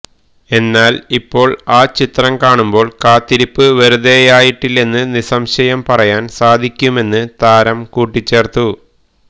എന്നാൽ ഇപ്പോൾ ആ ചിത്രം കാണുമ്പോൾ കാത്തിരിപ്പ് വെറുതെയായിട്ടില്ലെന്ന് നിസംശയം പറയാൻ സാധിക്കുമെന്ന് താരം കൂട്ടിച്ചേർത്തു